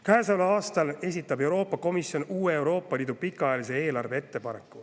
Käesoleval aastal esitab Euroopa Komisjon uue Euroopa Liidu pikaajalise eelarve ettepaneku.